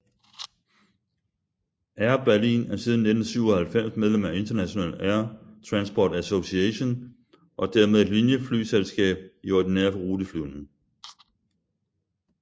Air Berlin er siden 1997 medlem af International Air Transport Association og dermed et linieflyselskab i ordinær ruteflyvning